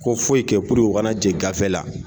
Ko foyi kɛ u kana jɛ gafe la